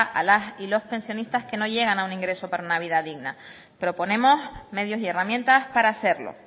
a las y los pensionistas que no llegan a un ingreso para una vida digna proponemos medios y herramientas para hacerlo